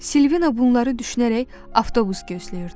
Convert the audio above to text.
Silvina bunları düşünərək avtobus gözləyirdi.